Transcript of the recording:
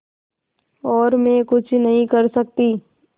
और मैं कुछ नहीं कर सकती